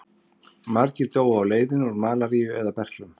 Margir dóu á leiðinni úr malaríu eða berklum.